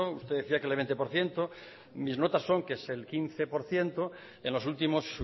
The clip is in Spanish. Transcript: usted decía que el veinte por ciento mis notas son que es el quince por ciento en los últimos